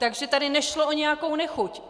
Takže tady nešlo o nějakou nechuť.